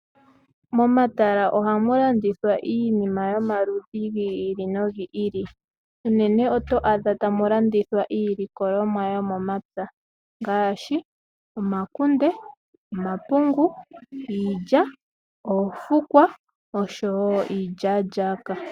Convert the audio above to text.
Momatala ohamu landithwa iinima yomaludhi gi ili no gi ili. Uunene oto adha tamulandithwa iilikolomwa yomomapya ngaashi omakunde, omapungu, iilya, oofukwa osho woo iilyalyaka.